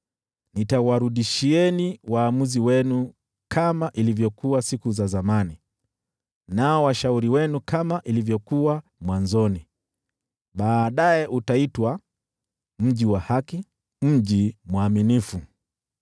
Nitawarudishia waamuzi wenu kama ilivyokuwa siku za zamani, nao washauri wenu kama ilivyokuwa mwanzoni. Baadaye utaitwa, Mji wa Haki, Mji Mwaminifu.”